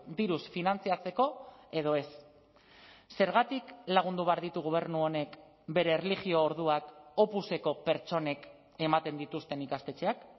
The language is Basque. diruz finantzatzeko edo ez zergatik lagundu behar ditu gobernu honek bere erlijio orduak opuseko pertsonek ematen dituzten ikastetxeak